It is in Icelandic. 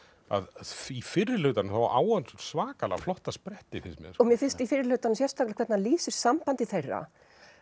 að í fyrri hlutanum á hann svakalega flotta spretti finnst mér mér finnst í fyrri hlutanum sérstaklega hvernig lýsir sambandi þeirra